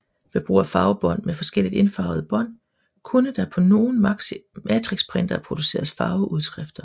Ved brug af farvebånd med forskelligt indfarvede bånd kunne der på nogle matrixprintere produceres farveudskrifter